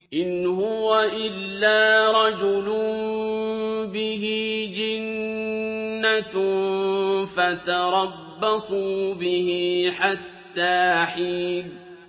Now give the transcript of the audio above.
إِنْ هُوَ إِلَّا رَجُلٌ بِهِ جِنَّةٌ فَتَرَبَّصُوا بِهِ حَتَّىٰ حِينٍ